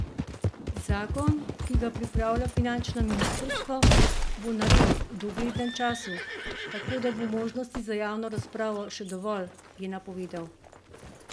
Zakon, ki ga pripravlja finančno ministrstvo, bo nared v doglednem času, tako da bo možnosti za javno razpravo še dovolj, je napovedal.